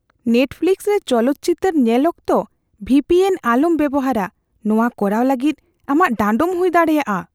Netflix ᱨᱮ ᱪᱚᱞᱚᱛ ᱪᱤᱛᱟᱹᱨ ᱧᱮᱞ ᱚᱠᱛᱚ ᱵᱷᱤ ᱯᱤ ᱮᱱ ᱟᱞᱚᱢ ᱵᱮᱵᱚᱦᱟᱨᱼᱟ ᱾ ᱱᱚᱣᱟ ᱠᱚᱨᱟᱣ ᱞᱟᱹᱜᱤᱫ ᱟᱢᱟᱜ ᱰᱟᱸᱰᱚᱢ ᱦᱩᱭ ᱫᱟᱲᱮᱭᱟᱜᱼᱟ ᱾